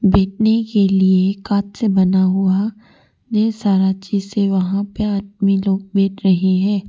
बैठने के लिए कांच से बना हुआ ढेर सारा शीशे वहां पे आदमी लोग बैठ रहे हैं।